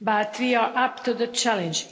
We are up to the challenge.